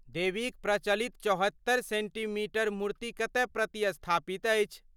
देवीक प्रचलित चौहत्तरि सेन्टीमीटर मूर्ति कतय प्रतिस्थापित अछि?